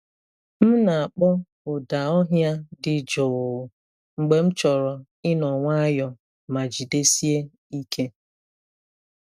M na-akpọ ụda ọhịa dị jụụ mgbe m chọrọ ịnọ nwayọọ ma jidesie ike.